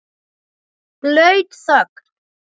Blaut þögn.